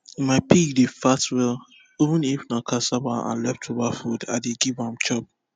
my pig dey fat well even if na cassava and leftover food i dey give am chop